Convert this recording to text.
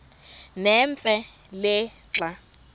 nemfe le xa